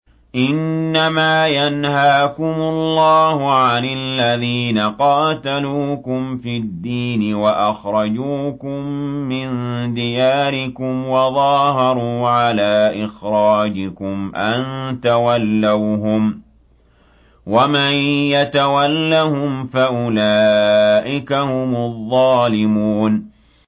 إِنَّمَا يَنْهَاكُمُ اللَّهُ عَنِ الَّذِينَ قَاتَلُوكُمْ فِي الدِّينِ وَأَخْرَجُوكُم مِّن دِيَارِكُمْ وَظَاهَرُوا عَلَىٰ إِخْرَاجِكُمْ أَن تَوَلَّوْهُمْ ۚ وَمَن يَتَوَلَّهُمْ فَأُولَٰئِكَ هُمُ الظَّالِمُونَ